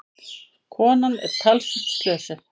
Konan er talsvert slösuð.